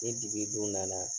Ni dibi dun nana